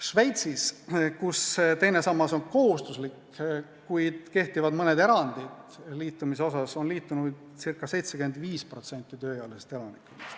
Šveitsis, kus teine sammas on kohustuslik, kuid liitumise osas kehtivad mõned erandid, on liitunuid circa 75% tööealisest elanikkonnast.